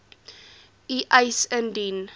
u eis indien